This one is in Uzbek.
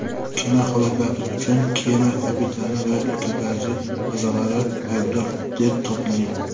Kema halokati uchun kema kapitani va ekipaj a’zolari aybdor deb topilgan.